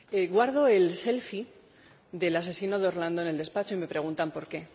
Guardo el del asesino de Orlando en el despacho y me preguntan por qué.